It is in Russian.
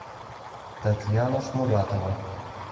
татьяна шмуратова